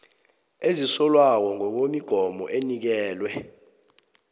ezisolwako ngokwemigomo enikelwe